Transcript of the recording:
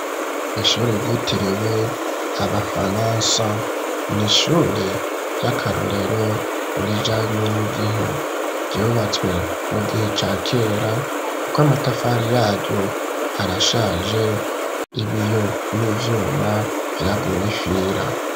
Ishure, ryitiriwe abafaransa, ni ishure ry'akarorero, rijanye n'igihe; ryubatswe mu gihe ca kera, kuko amatafari yaryo, arashaje, ibiyo n'ivyuma, vyaguye ifira.